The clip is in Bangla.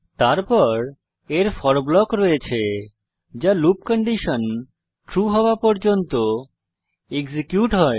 তারপর এর ফোর ব্লক রয়েছে যা লুপ কন্ডিশন ট্রু হওয়া পর্যন্ত এক্সিকিউট হয়